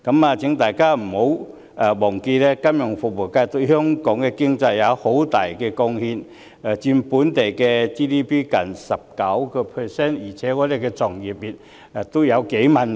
我請大家不要忘記，金融服務業對香港經濟有很大貢獻，佔 GDP 近 19%， 我們的從業員也有數萬人。